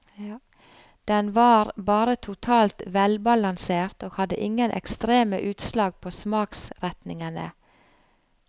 Den var bare totalt velbalansert og hadde ingen ekstreme utslag på smaksretningene.